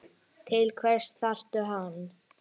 Til hvers þarftu hann?